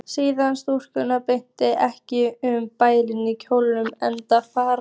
Siðsamar stúlkur þvælast ekki um bæinn í kjólnum einum fata